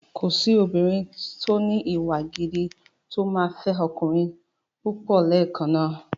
Kòsí obìnrin tó ní ìwà gidi tó máa fẹ́ ọkùnrin púpọ̀ lẹ́ẹ̀kan náà.